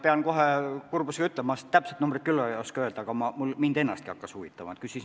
Pean kohe kurbusega ütlema, ma täpset numbrit küll ei oska öelda, aga mind ennastki hakkas see huvitama.